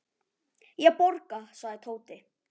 Ég borga, sagði Tóti.